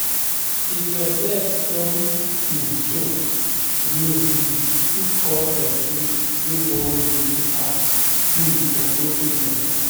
If your debt don um choke, you um fit call person wey borrow you to ask um for low interest